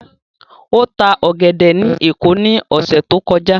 Ó ta ọ̀gẹ̀dẹ̀ ní Èkó ní ọ̀sẹ̀ tó kọjá.